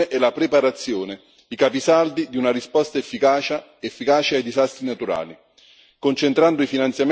Tuttavia, restano la prevenzione e la preparazione i capisaldi di una risposta efficace ai disastri naturali.